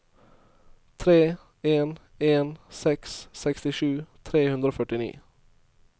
tre en en seks sekstisju tre hundre og førtini